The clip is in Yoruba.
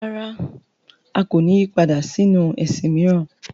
Rárá! A kò ní yí padà sínu ẹ̀sìn mìíràn.